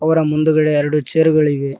ಅವರ ಮುಂದುಗಡೆ ಎರಡು ಚೇರ್ ಗಳಿವೆ.